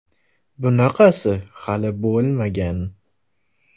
Bunaqasi hali bo‘lmagan!